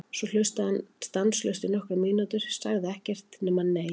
Svo hlustaði hann stanslaust í nokkrar mínútur, sagði ekkert nema: Nei!